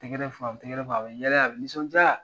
Tɛgɛrɛ fɔ a bɛ tɛgɛɛrɛ fɔ, a bɛ yalɛ, a bɛ nisɔndiya!